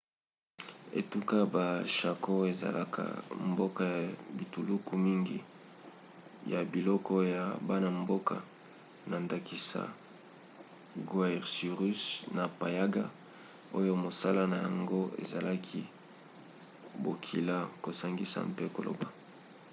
etuka ya chaco ezalaka mboka ya bituluku mingi ya bikolo ya bana-mboka na ndakisa guaycurú na payaguá oyo mosala na yango ezalaki bokila kosangisa mpe koloba